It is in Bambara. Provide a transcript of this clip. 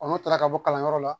n'u taara ka bɔ kalanyɔrɔ la